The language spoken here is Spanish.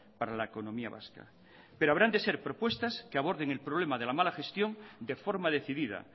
para la economía vasca pero habrán de ser propuestas que aborden el problema de la mala gestión de forma decidida